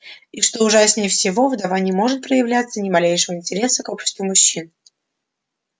и что ужаснее всего вдова не может проявлять ни малейшего интереса к обществу мужчин